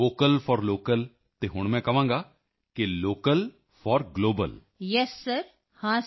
ਹਾਂ ਜਦੋਂ ਮੈਂ ਕਹਿੰਦਾ ਸੀ ਵੋਕਲ ਫੌਰ ਲੋਕਲ ਅਤੇ ਹੁਣ ਮੈਂ ਕਹਾਂਗਾ ਕਿ local for global so when I say vocal for local and now local for global